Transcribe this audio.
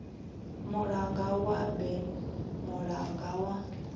mulanga wa berne mulanga wa